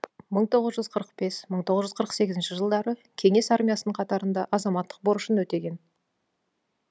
мың тоғыз жүз қырық бес мың тоғыз жүз қырық сегізінші жылдары кеңес армиясының қатарында азаматтық борышын өтеген